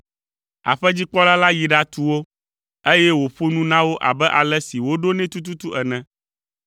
Aƒedzikpɔla la yi ɖatu wo, eye wòƒo nu na wo abe ale si woɖo nɛ tututu ene.